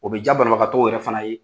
O bɛ diya banabagatɔw yɛrɛ fana ye